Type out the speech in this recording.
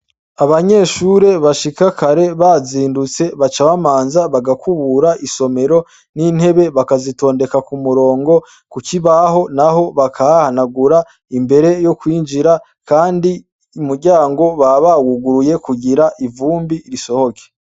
Abanyeshure bashika kara bazindutse baca bamanza bagakubura n' intebe bakazitondeka kumurongo kukibaho naho bakahahanagura imbere yo kwinjira kandi umuryango baba bawuguruye kugira ivumbi risohoke.